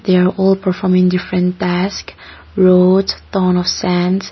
they are all performing the front task roads .